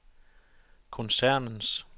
koncernens